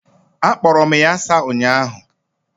Akporo m ya asa ụnyahụ.